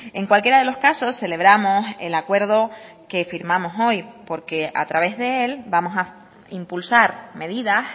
en cualquiera de los casos celebramos el acuerdo que firmamos hoy porque a través de él vamos a impulsar medidas